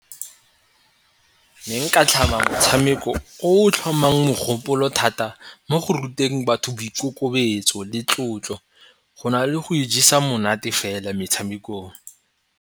Ne nka tlhama motshameko o o tlhomang mogopolo thata mo go ruteng batho boikokobetso le tlotlo go na le go ijesa monate fela metshamekong.